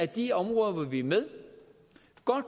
de områder hvor vi er med